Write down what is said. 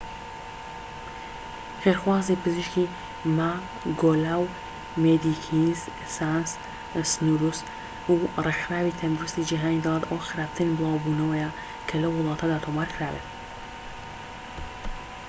خێرخوازی پزیشکی ماگۆلا و مێدیکینز سانس سنورس و رێکخراوی تەندروستی جیهانی دەڵێن ئەوە خراپترین بڵاوبونەوەیە کە لەو وڵاتەدا تۆمارکرابێت